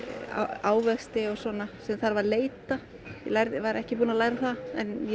ávexti og svona sem þarf að leita ég var ekki búin að læra það en ég